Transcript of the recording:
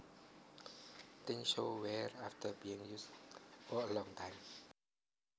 Things show wear after being used for a long time